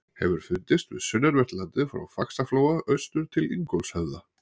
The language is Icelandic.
Hefur fundist við sunnanvert landið frá Faxaflóa austur til Ingólfshöfða.